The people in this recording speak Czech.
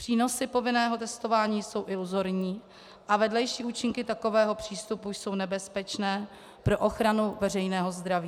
Přínosy povinného testování jsou iluzorní a vedlejší účinky takového přístupu jsou nebezpečné pro ochranu veřejného zdraví.